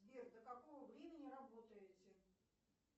сбер до какого времени работаете